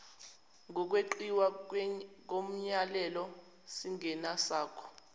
kokweqiwa komyalelo singesakho